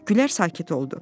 Gülər sakit oldu.